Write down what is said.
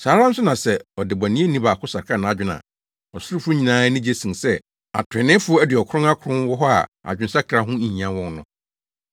Saa ara nso na sɛ ɔdebɔneyɛni baako sakra nʼadwene a, ɔsorofo nyinaa ani gye sen sɛ atreneefo aduɔkron akron wɔ hɔ a adwensakra ho nhia wɔn no.